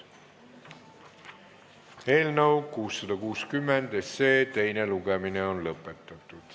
Eelnõu 660 teine lugemine on lõpetatud.